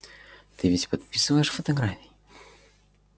ты ведь подписываешь фотографии